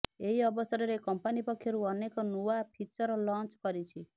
ଏହି ଅବସରରେ କମ୍ପାନୀ ପକ୍ଷରୁ ଅନେକ ନୂଆ ଫିଚର ଲଞ୍ଚ କରିଛି